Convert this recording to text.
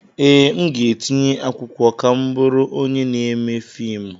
Ee, aga m etinye akwụkwọ ka m bụrụ onye na-eme fiimu.